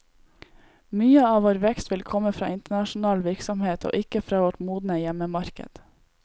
Mye av vår vekst vil komme fra internasjonal virksomhet, og ikke fra vårt modne hjemmemarked.